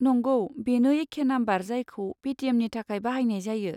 नंगौ, बेनो एखे नाम्बार जायखौ पेटिएमनि थाखाय बाहायनाय जायो।